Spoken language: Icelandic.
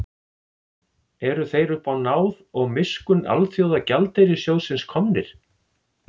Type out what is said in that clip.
Eru þeir uppá náð og miskunn Alþjóðagjaldeyrissjóðsins komnir?